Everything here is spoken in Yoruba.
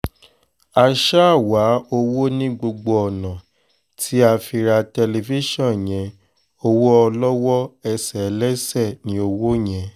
a ṣáà wá owó ní gbogbo ọ̀nà tí a fi ra tẹlifíṣàn yẹn owó olówó ẹsẹ̀ ẹlẹ́ṣẹ̀ ní owó yẹn